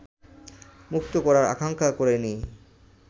মুক্ত করার আকাঙ্ক্ষা করেনি